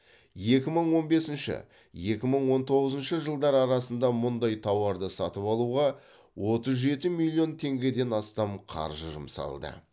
екі мың он бесінші екі мың он тоңызыншы жылдар арасында мұндай тауарды сатып алуға оттыз жеті миллион теңгеден астам қаржы жұмсалды